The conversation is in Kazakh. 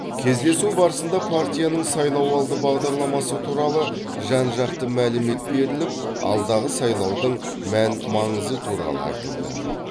кездесу барысында партияның сайлауалды бағдарламасы туралы жан жақты мәлімет беріліп алдағы сайлаудың мән маңызы туралы айтылды